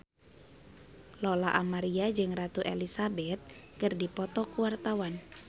Lola Amaria jeung Ratu Elizabeth keur dipoto ku wartawan